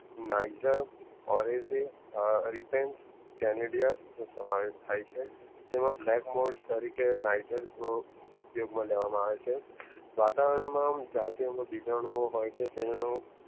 Niger ઓરસે રેટેઞ્ચ કાનડીયા સમાવેસ થઈ છે તેમાં black most તરીકે નાઈજર ઉપયોગમાં લેવામાં આવે છે વાતાવરણમાં જાતિઓમાં બીજાનું હોય છે